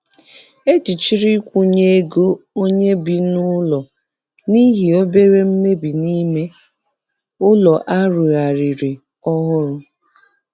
Ejichiri nkwụnye ego onye bi n'ụlọ n'ihi obere mmebi n'ime ụlọ a rụzigharịrị ọhụrụ.